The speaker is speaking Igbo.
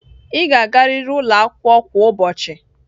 Ị ga-agarịrị ụlọ akwụkwọ kwa ụbọchị!